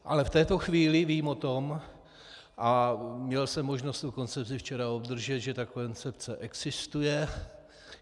Ale v této chvíli vím o tom, a měl jsem možnost tu koncepci včera obdržet, že ta koncepce existuje.